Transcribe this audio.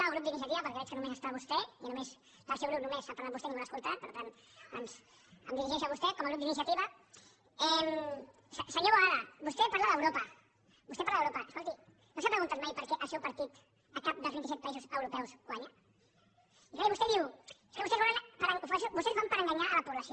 o grup d’iniciativa perquè veig que només hi és vostè i del seu grup només ha parlat vostè i ningú l’ha escoltat per tant em dirigeixo a vostè com el grup d’iniciativa senyor boada vostè parla d’europa vostè parla d’europa escolti no s’ha preguntat mai per què el seu partit a cap dels vint i set països europeus guanya i clar vostè diu és que vostès ho fan per enganyar la població